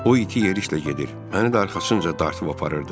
O iti yeriklə gedir, məni də arxasınca dartıb aparırdı.